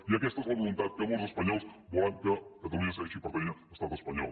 i aquesta és la voluntat que molts espanyols volen que catalunya segueixi pertanyent a l’estat espanyol